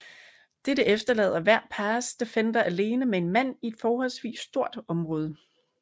Dette efterlader hver pass defender alene med en mand i et forholdsvis stort område